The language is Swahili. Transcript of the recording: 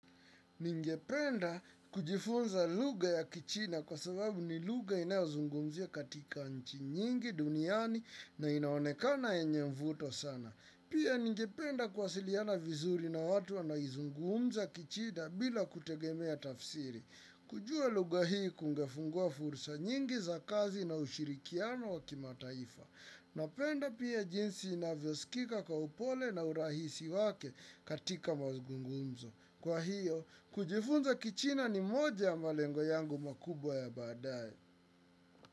Ningependa kujifunza lugha ya kichina kwa sababu ni lugha inayozungumzia katika nchi nyingi duniani na inaonekana yenye mvuto sana. Pia ningependa kuwasiliana vizuri na watu wanaizungumza kichina bila kutegemea tafsiri. Kujua lugha hii kungefungua fursa nyingi za kazi na ushirikiano wa kimataifa. Napenda pia jinsi inavyosikika kwa upole na urahisi wake katika mazungumzo. Kwa hiyo, kujifunza kichina ni moja ya malengo yangu makubwa ya baadae.